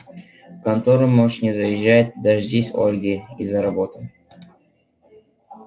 в контору можешь не заезжать дождись ольги и за работу